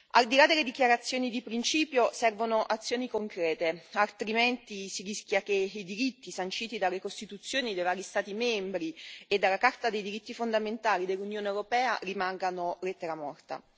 Al di là delle dichiarazioni di principio, servono azioni concrete, altrimenti si rischia che i diritti sanciti dalle costituzioni dei vari Stati membri e dalla Carta dei diritti fondamentali dell'Unione europea rimangano lettera morta.